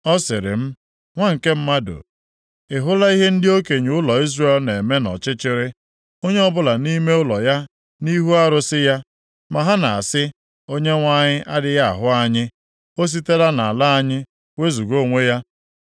Ọ sịrị m, “Nwa nke mmadụ, ị hụla ihe ndị okenye ụlọ Izrel na-eme nʼọchịchịrị, onye ọbụla nʼime ụlọ ya nʼihu arụsị ya? Ma ha na-asị, ‘ Onyenwe anyị adịghị ahụ anyị, O sitela nʼala anyị wezuga onwe ya.’ ”